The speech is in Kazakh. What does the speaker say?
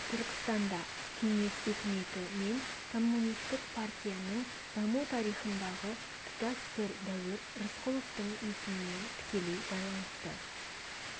түркістанда кеңес өкіметі мен коммунистік партияның даму тарихындағы тұтас бір дәуір рысқұловтың есімімен тікелей байланысты